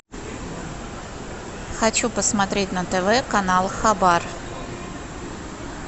хочу посмотреть на тв канал хабар